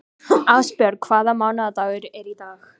Ásbjörg, hvaða mánaðardagur er í dag?